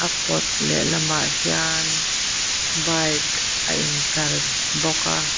a kawt lehlam ah hian bike a in tlar bawk a.